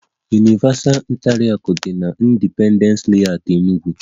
Universal hotel bụ na Independence Layout, Enug